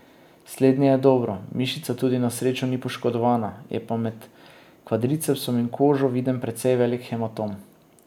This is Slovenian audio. Slednje je dobro, mišica tudi na srečo ni poškodovana, je pa med kvadricepsom in kožo viden precej velik hematom.